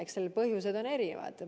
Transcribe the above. Eks seal on erinevad põhjused.